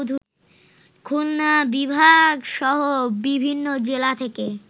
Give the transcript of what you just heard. খুলনা বিভাগসহ বিভিন্ন জেলা থেকে